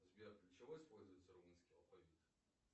сбер для чего используется румынский алфавит